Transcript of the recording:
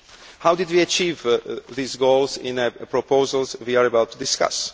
How did we achieve these goals in the proposals we are about to discuss?